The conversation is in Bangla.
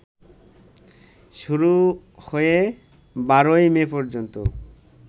শুরু হয়ে ১২ই মে পর্যন্ত